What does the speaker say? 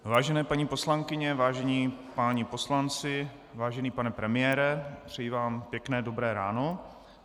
Vážené paní poslankyně, vážení páni poslanci, vážený pane premiére, přeji vám pěkné dobré ráno.